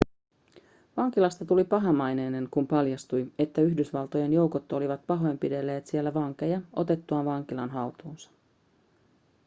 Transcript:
vankilasta tuli pahamaineinen kun paljastui että yhdysvaltojen joukot olivat pahoinpidelleet siellä vankeja otettuaan vankilan haltuunsa